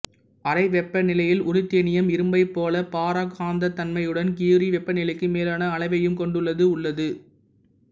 அறை வெப்பநிலையில் உருத்தேனியம் இரும்பைப் போல பாரா காந்தத்தன்மையுடனும் கியுரி வெப்பநிலைக்கு மேலான அளவையும் கொண்டுள்ளது உள்ளது